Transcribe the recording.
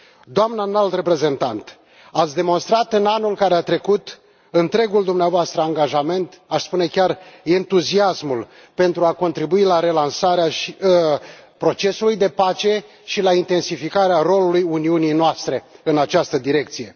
Doamnă Înalt Reprezentant, ați demonstrat, în anul care a trecut, întregul dumneavoastră angajament, aș spune chiar entuziasmul, pentru a contribui la relansarea procesului de pace și la intensificarea rolului Uniunii noastre în această direcție.